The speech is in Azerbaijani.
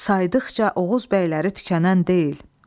Saydıqca Oğuz bəyləri tükənən deyil.